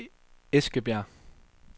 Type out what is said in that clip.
Eskebjerg